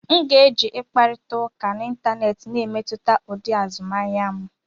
M ga-eji ịkparịta ụka n'Ịntanet na-emetụta ụdị azụmahịa m.